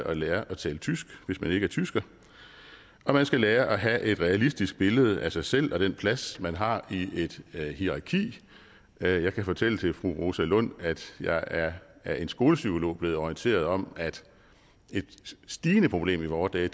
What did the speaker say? at lære at tale tysk hvis man ikke er tysker og man skal lære at have et realistisk billede af sig selv og den plads man har i et hierarki jeg kan fortælle fru rosa lund at jeg af en skolepsykolog er blevet orienteret om at et stigende problem i vore dage